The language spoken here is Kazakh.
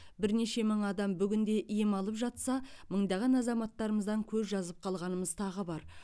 бірнеше мың адам бүгінде ем алып жатса мыңдаған азаматымыздан көз жазып қалғанымыз тағы бар